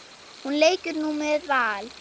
Hún leikur nú með Val.